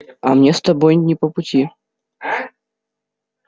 а мне с тобой не по пути